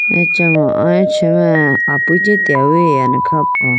acha mo aluchi mai api chetewuyi ane kha po.